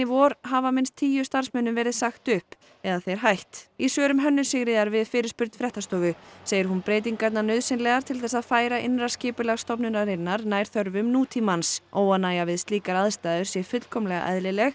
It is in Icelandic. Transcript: vor hafa minnst tíu starfsmönnum verið sagt upp eða þeir hætt í svörum Hönnu Sigríðar við fyrirspurn fréttastofu segir hún breytingarnar nauðsynlegar til þess að færa innra skipulag stofnunarinnar nær þörfum nútímans óánægja við slíkar aðstæður sé fullkomlega eðlileg